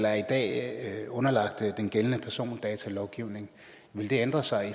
er i dag underlagt den gældende persondatalovgivning vil det ændre sig